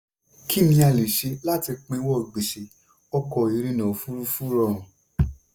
"kí ni a lè ṣe láti pinwọ́ gbèṣè? ọkọ̀ ìrìnà òfurufú rọrun."